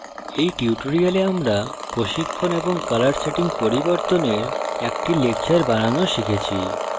in tutorial আমরা প্রশিক্ষণ এবং colour সেটিং পরিবর্তনের একটি লেকচর বানানো শিখেছি